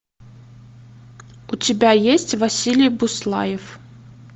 у тебя есть василий буслаев